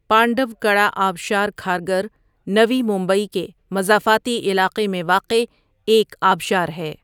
پانڈَوکڑا آبشار کھارگھر، نوی ممبئی کے مضافاتی علاقے میں واقع ایک آبشار ہے۔